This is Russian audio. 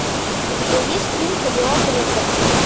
у тебя есть фильм кадиллак рекордс